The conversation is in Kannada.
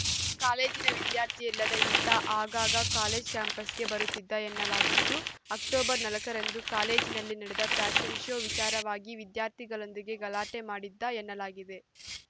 ಕಾಲೇಜಿನ ವಿದ್ಯಾರ್ಥಿಯಲ್ಲದ ಈತ ಆಗಾಗ ಕಾಲೇಜ್‌ ಕ್ಯಾಂಪಸ್‌ಗೆ ಬರುತ್ತಿದ್ದ ಎನ್ನಲಾಗಿದ್ದು ಅಕ್ಟೋಬರ್ ನಾಲ್ಕ ರಂದು ಕಾಲೇಜಿನಲ್ಲಿ ನಡೆದ ಫ್ಯಾಷನ್‌ ಶೋ ವಿಚಾರವಾಗಿ ವಿದ್ಯಾರ್ಥಿಗಳೊಂದಿಗೆ ಗಲಾಟೆ ಮಾಡಿದ್ದ ಎನ್ನಲಾಗಿದೆ